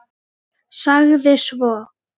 Sagði svo